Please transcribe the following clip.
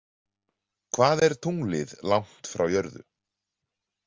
Hvað er tunglið langt frá jörðu?